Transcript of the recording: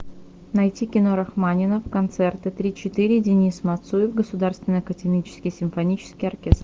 найти кино рахманинов концерты три четыре денис мацуев государственный академический симфонический оркестр